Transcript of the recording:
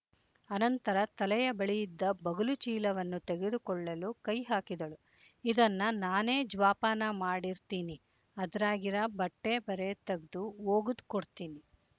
ಅನಂತರ ತಲೆಯ ಬಳಿಯಿದ್ದ ಬಗಲು ಚೀಲವನ್ನು ತೆಗೆದುಕೊಳ್ಳಲು ಕೈ ಹಾಕಿದಳು ಇದನ್ನ ನಾನೇ ಜ್ವಾಪಾನ ಮಾಡಿರ್ತೀನಿ ಅದ್ರಾಗಿರಾ ಬಟ್ಟೆ ಬರೆ ತಗ್ದು ವೋಗುದ್ ಕೊಡ್ತೀನಿ